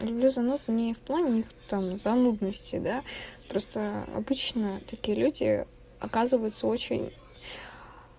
люблю звонок не в плане там занудности да просто обычно такие люди оказываются очень